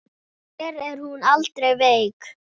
Hér er hún aldrei veik.